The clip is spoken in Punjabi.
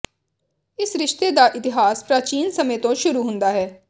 ਇਸ ਰਿਸ਼ਤੇ ਦਾ ਇਤਿਹਾਸ ਪ੍ਰਾਚੀਨ ਸਮੇਂ ਤੋਂ ਸ਼ੁਰੂ ਹੁੰਦਾ ਹੈ